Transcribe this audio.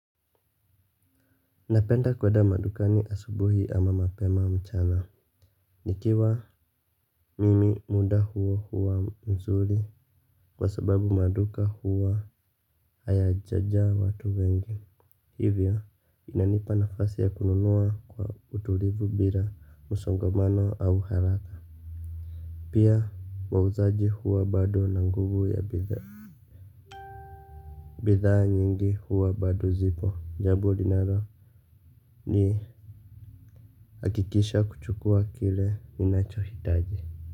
Napenda kwenda madukani asubuhi ama mapema mchana. Nikiwa mimi muda huo huwa mzuri kwa sababu maduka huwa haya jajaa watu wengi. Hivyo inanipa nafasi ya kununua kwa utulivu bila msongomano au haraka. Pia muuzaji huwa bado na nguvu ya bidhaa. Bidhaa nyingi huwa bado zipo jambo linalo ni hakikisha kuchukua kile ninacho hitaji.